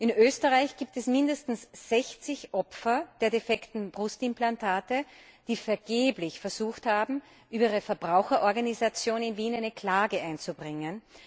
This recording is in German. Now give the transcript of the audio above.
In Österreich gibt es mindestens 60 Opfer der defekten Brustimplantate, die vergeblich versucht haben, über ihre Verbraucherorganisation in Wien eine Klage einzubringen.